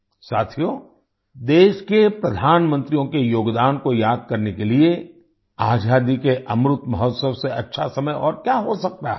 साथियो देश के प्रधानमंत्रियों के योगदान को याद करने के लिए आज़ादी के अमृत महोत्सव से अच्छा समय और क्या हो सकता है